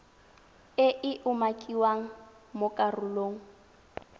e e umakiwang mo karolong